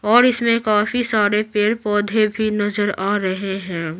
और इसमें काफी सारे पेड़-पौधे भी नजर आ रहे हैं।